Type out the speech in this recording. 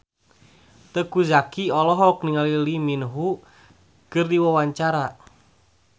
Teuku Zacky olohok ningali Lee Min Ho keur diwawancara